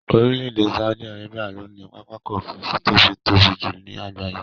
Orílè èdè Saudi Arabia ló ní pápákò òfurufú to tóbi jùlo ní àgbáyé